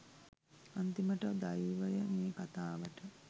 අන්‍ති‍ම‍ට ‍දෛ‍ව‍ය ‍මේ ‍ක‍තා‍ව‍ට